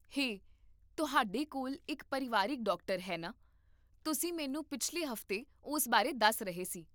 ਹੇ, ਤੁਹਾਡੇ ਕੋਲ ਇੱਕ ਪਰਿਵਾਰਕ ਡਾਕਟਰ ਹੈ, ਨਾ? ਤੁਸੀਂ ਮੈਨੂੰ ਪਿਛਲੇ ਹਫ਼ਤੇ ਉਸ ਬਾਰੇ ਦੱਸ ਰਹੇ ਸੀ